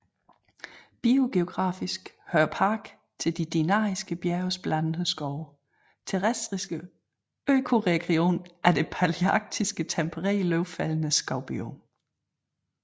Biogeografisk hører parken til de Dinariske bjerges blandede skove terrestriske økoregion af det palearktiske tempereret løvfældende skov biom